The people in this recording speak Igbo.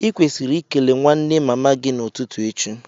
I kwesiri ikele nwanne mama gi n'ututu echi